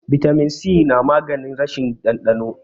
bitamin si namaganin rashin dandano